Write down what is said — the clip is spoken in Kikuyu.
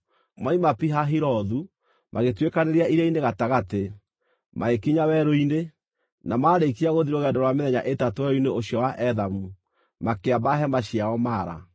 Moima Pi-Hahirothu, magĩtuĩkanĩria iria-inĩ gatagatĩ, magĩkinya werũ-inĩ, na maarĩkia gũthiĩ rũgendo rwa mĩthenya ĩtatũ werũ-inĩ ũcio wa Ethamu, makĩamba hema ciao Mara.